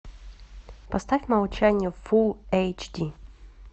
поставь молчание фул эйч ди